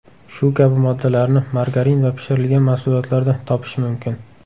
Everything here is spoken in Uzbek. Shu kabi moddalarni margarin va pishirilgan mahsulotlarda topish mumkin.